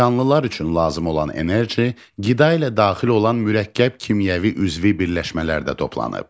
Canlılar üçün lazım olan enerji qida ilə daxil olan mürəkkəb kimyəvi üzvi birləşmələrdə toplanıb.